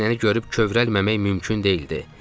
Bu səhnəni görüb kövrəlməmək mümkün deyildi.